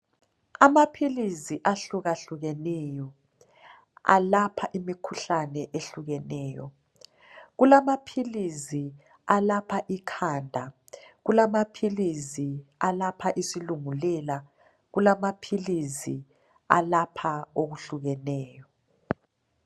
Amaphilisi ahlukahlukeneyo alapha imikhuhlane ehlukeneyo. Kulamaphilisi alapha ikhanda. Kulamaphilisi alapha isilungulela . Kulamaphilisi alapha okuhlukeneyo.